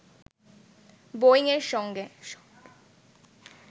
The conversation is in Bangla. বোয়িং-এর সঙ্গে